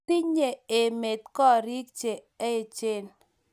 Tenye emet korik che achen